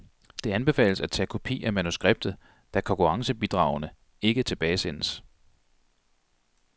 Det anbefales at tage kopi af manuskriptet, da konkurrencebidragene ikke tilbagesendes.